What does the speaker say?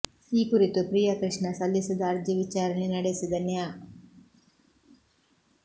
ಈ ಕುರಿತು ಪ್ರಿಯ ಕೃಷ್ಣ ಸಲ್ಲಿಸಿದ್ದ ಅರ್ಜಿ ವಿಚಾರಣೆ ನಡೆಸಿದ ನ್ಯಾ